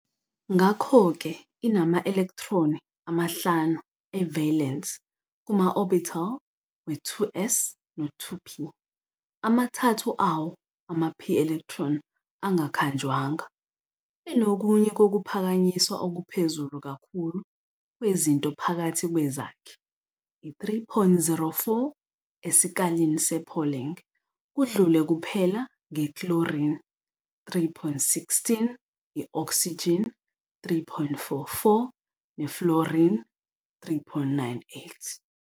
Ngakho-ke inama-elektroni amahlanu e-valence kuma-orbital we-2s no-2p, amathathu awo, ama-p-electron, angakhanjwanga. Inokunye kokuphakanyiswa okuphezulu kakhulu kwezinto phakathi kwezakhi, i-3.04 esikalini sePauling, kudlule kuphela nge-chlorine, 3.16, i-oxygen, 3.44, ne-fluorine, 3.98.